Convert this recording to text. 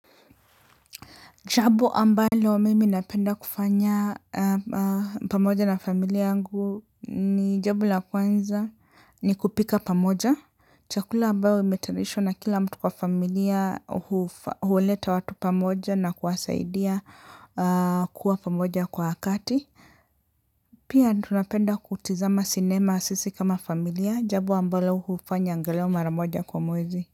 Jabo ambalo mimi napenda kufanya pamoja na familia yangu ni jabu la kwanza ni kupika pamoja. Chakula ambayo imetarishwa na kila mtu kwa familia huleta watu pamoja na kuwasaidia kuwa pamoja kwa wakati. Pia tunapenda kutizama sinema sisi kama familia jabo ambalo hufanya ngalao mara moja kwa mwezi.